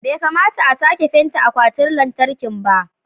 bai kamata a sake fenta akwatin lantarki ba